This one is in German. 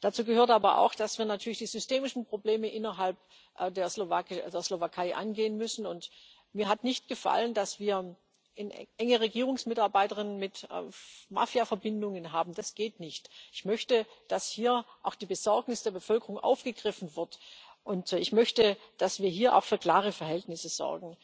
Dazu gehört aber auch, dass wir natürlich die systemischen Probleme innerhalb der Slowakei angehen müssen, und mir hat nicht gefallen, dass wir enge Regierungsmitarbeiterinnen mit Mafiaverbindungen haben. Das geht nicht. Ich möchte, dass hier auch die Besorgnis der Bevölkerung aufgegriffen wird, und ich möchte, dass wir hier auch für klare Verhältnisse sorgen.